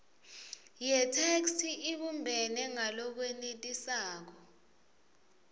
yetheksthi ibumbene ngalokwenetisako